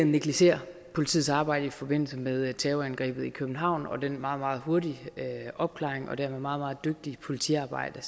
negligerer politiets arbejde i forbindelse med terrorangrebet i københavn og den meget meget hurtige opklaring og det meget meget dygtige politiarbejde